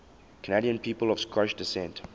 canadian people of scottish descent